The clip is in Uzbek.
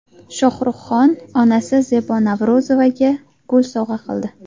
Shohrux Xon onasi Zebo Navro‘zovaga gul sovg‘a qildi.